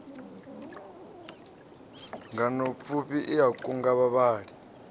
nganeapfufhi i a kunga vhavhali